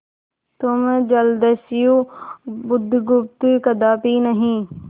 तुम जलदस्यु बुधगुप्त कदापि नहीं